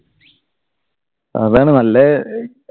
അതാണ് നല്ല